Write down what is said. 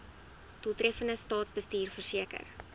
doeltreffende staatsbestuur verseker